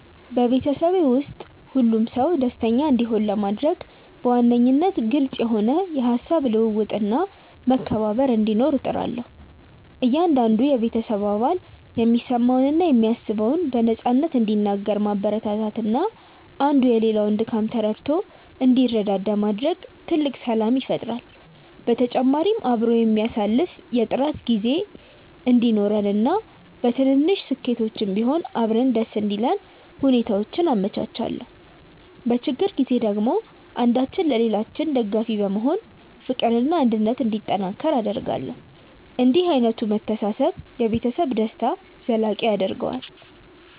በቤተሰቤ ውስጥ ሁሉም ሰው ደስተኛ እንዲሆን ለማድረግ በዋነኝነት ግልጽ የሆነ የሃሳብ ልውውጥና መከባበር እንዲኖር እጥራለሁ። እያንዳንዱ የቤተሰብ አባል የሚሰማውንና የሚያስበውን በነፃነት እንዲናገር ማበረታታትና አንዱ የሌላውን ድካም ተረድቶ እንዲረዳዳ ማድረግ ትልቅ ሰላም ይፈጥራል። በተጨማሪም አብሮ የሚያሳልፍ የጥራት ጊዜ እንዲኖረንና በትንንሽ ስኬቶችም ቢሆን አብረን ደስ እንዲለን ሁኔታዎችን አመቻቻለሁ። በችግር ጊዜ ደግሞ አንዳችን ለሌላችን ደጋፊ በመሆን ፍቅርና አንድነት እንዲጠናከር አደርጋለሁ። እንዲህ ዓይነቱ መተሳሰብ የቤተሰብን ደስታ ዘላቂ ያደርገዋል።